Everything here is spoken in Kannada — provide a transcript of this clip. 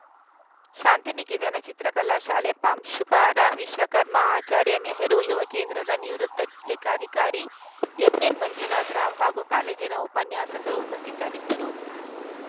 ಶಾಂತಿನಿಕೇತನ ಚಿತ್ರಕಲಾ ಶಾಲೆ ಪ್ರಾಂಶುಪಾರ ವಿಶ್ವಕರ್ಮ ಆಚಾರ್ಯ ನೆಹರು ಯುವ ಕೇಂದ್ರದ ನಿವೃತ್ತ ಲೆಕ್ಕಾಧಿಕಾರಿ ಎಂಎನ್‌ ಮಂಜುನಾಥ ರಾವ್‌ ಹಾಗೂ ಕಾಲೇಜಿನ ಉಪನ್ಯಾಸಕರು ಉಪಸ್ಥಿತರಿದ್ದರು